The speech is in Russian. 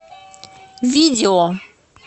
видео